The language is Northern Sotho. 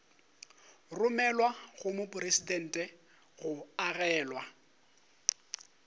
romelwa go mopresidente go amogelwa